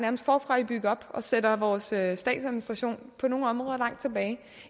forfra med at bygge op og sætter vores statsadministration på nogle områder langt tilbage